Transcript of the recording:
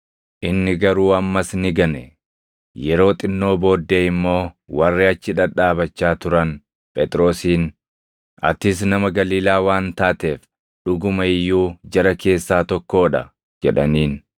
Inni garuu ammas ni gane. Yeroo xinnoo booddee immoo warri achi dhadhaabachaa turan Phexrosiin, “Atis nama Galiilaa waan taateef dhuguma iyyuu jara keessaa tokkoo dha!” jedhaniin.